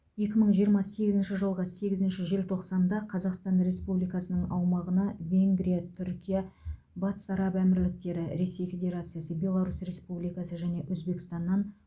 екі мың жиырма сегізінші жылғы сегізінші желтоқсанда қазақстан республикасының аумағына венгрия түркия батыс араб әмірліктері ресей федерациясы беларусь республикасы және өзбекстаннан